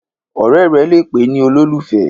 ọrẹ rè lẹ pé nì ololufẹ